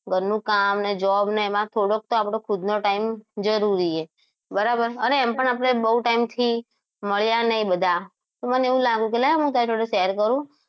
ઘરનું કામ અને જવાબ ને એમાં થોડોક તો આપણો ખુદ નો time જરૂરી હૈ બરાબર અને એમ પણ આપણે બહુ time થી મળ્યા નહિ બધા તો મને એવું લાગ્યું કે લાય તારી જોડે share કરું